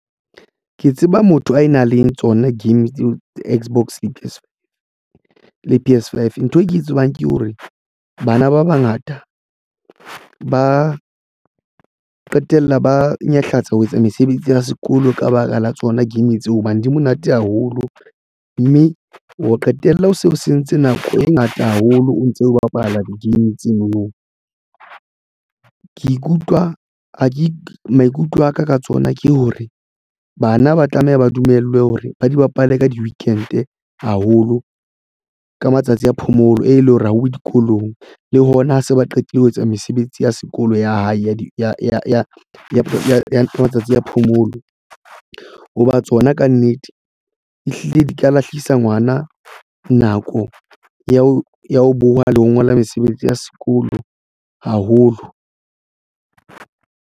Ke tseba motho a nang le tsona game Xbox le P_S Five ntho e ke e tsebang ke hore bana ba bangata ba qetella ba nyahlatsa ho etsa mesebetsi ya sekolo ka baka la tsona game tseo hobane di monate haholo, mme o qetella o se o sentse nako e ngata haholo o ntse o bapala di-game tseno no. Ke ikutlwa maikutlo aka ka tsona ke hore bana ba tlameha ba dumellwe hore ba di bapale ka di-weekend-e haholo ka matsatsi a phomolo e leng hore ha uwe dikolong le hona ho se ba qetile ho etsa mesebetsi ya sekolo ya hae ya matsatsi a phomolo ha ba tswa yona. Kannete, ehlile di ka lahlehisa ngwana nako ya ho ya ho boha le ho ngola mesebetsi ya sekolo haholo.